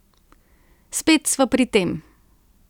Spet sva pri tem.